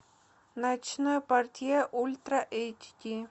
ночной портье ультра эйч ди